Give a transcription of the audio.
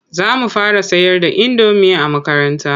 Za mu fara sayar da indomi a makaranta.